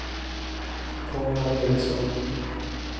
Konrad Ericson